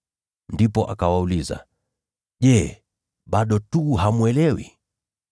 Ndipo akawauliza, “Je, bado hamwelewi?”